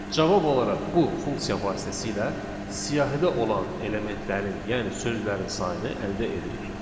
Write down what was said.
Cavab olaraq bu funksiya vasitəsilə siyahıda olan elementlərin, yəni sözlərin sayını əldə edirik.